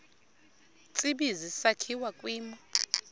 tsibizi sakhiwa kwimo